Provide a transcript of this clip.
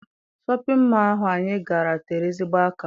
Shọpịn mọọ ahụ anyị gara tere ezigbo aka.